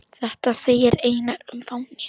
Þetta segir Einar um fánann